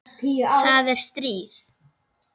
Það er stríð!